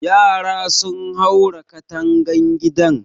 Yara sun haura katangan gidan